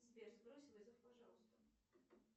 сбер сбрось вызов пожалуйста